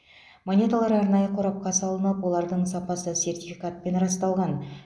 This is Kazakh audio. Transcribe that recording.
монеталар арнайы қорапқа салынып олардың сапасы сертификатпен расталған